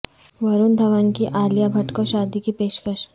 ورن دھون کی عالیہ بھٹ کو شادی کی پیش کش